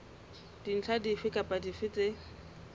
dintlha dife kapa dife tse